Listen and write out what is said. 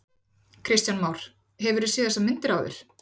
Kristján Már: Hefurðu séð þessar myndir áður?